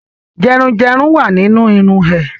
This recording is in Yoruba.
Dandruff is in her hair